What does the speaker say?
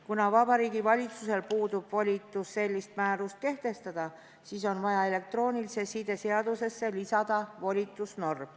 Kuna Vabariigi Valitsusel puudub volitus sellist määrust kehtestada, siis on vaja elektroonilise side seadusesse lisada volitusnorm.